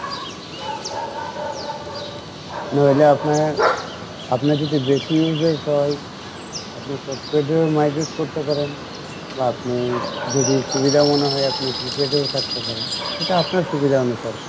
নইলে আপনার, আপনার যদি বেশি uses হয় আপনি postpaid এও migrate করতে পারেন বা আপনি যদি সুবিধা মনে হয় আপনি prepaid এও থাকতে পারেন সেটা আপনার সুবিধা অনুসারে